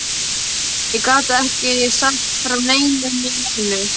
Ég gat ekki sagt frá einu né neinu.